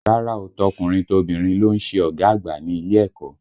Rárá o, tọkùnrin tobìnrin ló ń ṣe ọ̀gá àgbà ní ilé ẹ̀kọ́